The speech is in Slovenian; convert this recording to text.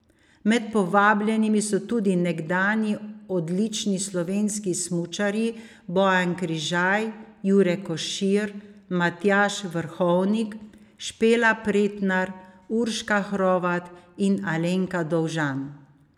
Med povabljenimi so tudi nekdanji odlični slovenski smučarji Bojan Križaj, Jure Košir, Matjaž Vrhovnik, Špela Pretnar, Urška Hrovat in Alenka Dovžan.